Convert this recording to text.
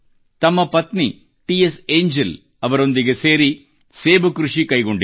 ತಮ್ಮ ಪತ್ನಿ T S Angel ಅವರೊಂದಿಗೆ ಸೇರಿ ಸೇಬು ಕೃಷಿ ಕೈಗೊಂಡಿದ್ದಾರೆ